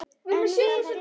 En viti menn!